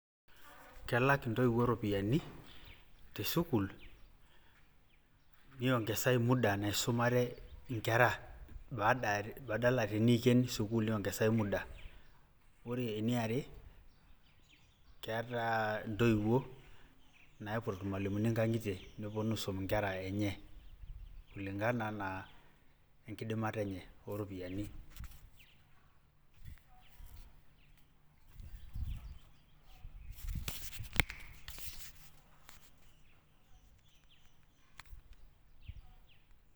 Kelak intoiwuo ropiyaiani, tesukuul, niongesai muda naisumare inkera, badala teniiken sukuul niongesai muda. Ore eniare, keeta intoiwuo naipot irmalimuni nkang'itie, peponu aisum inkera enye, kulingana na enkidimata enye oropiyiani.